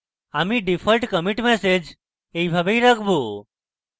আমি default commit message এইভাবেই রাখবো